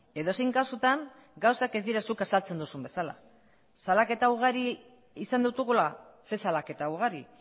edozein kasutan gauzak ez dira zuk azaltzen duzun bezala salaketa ugari izan ditugula ze salaketa ugari